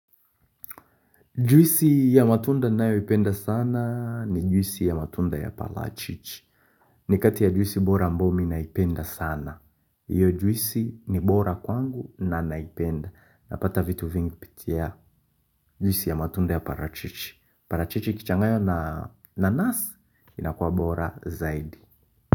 Juisi ya matunda ninayoipenda sana ni juisi ya matunda ya parachichi. Ni kati ya juisi bora ambao mimi naipenda sana. Iyo juisi ni bora kwangu na naipenda. Napata vitu vingi kupitia juisi ya matunda ya parachichi. Parachichi ikichanganywa na nanasi inakua bora zaidi.